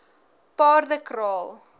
paardekraal